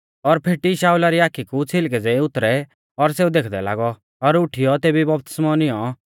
और फेटी शाऊला री आखी कु छ़िलकै ज़ेई उतरै और सेऊ देखदै लागौ और उठीयौ तेभी बपतिस्मौ निऔं